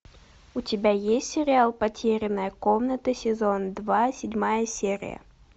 у тебя есть сериал потерянная комната сезон два седьмая серия